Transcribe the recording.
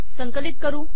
संकलित करू